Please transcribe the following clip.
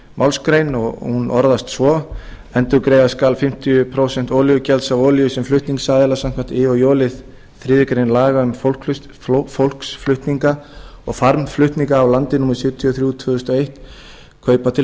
málsgrein og hún orðast svo endurgreiða skal fimmtíu prósent olíugjalds af olíu sem flutningsaðilar samkvæmt i og j lið þriðju grein laga um fólksflutninga og farmflutninga á landi númer sjötíu og þrjú tvö þúsund og eitt kaupa til